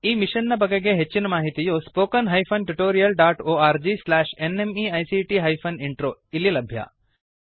ಈ ಮಿಶನ್ ನ ಬಗೆಗಿನ ಹೆಚ್ಚಿನ ಮಾಹಿತಿಯು spoken hyphen tutorial dot org slash NMEICT hyphen intro ದಲ್ಲಿ ಲಭ್ಯ